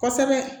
Kosɛbɛ